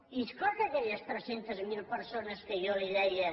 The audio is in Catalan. i és clar que aquelles tres cents miler persones que jo li deia